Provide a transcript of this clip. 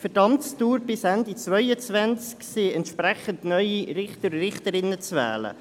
Für die Amtsdauer bis Ende 2022 sind entsprechend neue Richterinnen und Richter zu wählen.